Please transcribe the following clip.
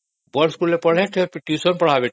ବଡ଼ ସ୍କୁଲରେ ପଢିବେ ପୁଣି ଟ୍ୟୁସନ ବି ପଢିବେ